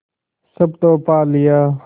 सब तो पा लिया